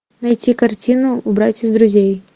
найти картину убрать из друзей